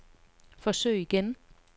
forsøg igen